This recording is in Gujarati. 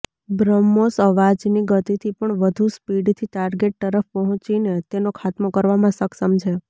બ્રહ્મોસ અવાજની ગતિથી પણ વધુ સ્પીડથી ટાર્ગેટ તરફ પહોંચીને તેનો ખાત્મો કરવામાં સક્ષમ છે